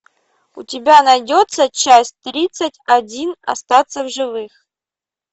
у тебя найдется часть тридцать один остаться в живых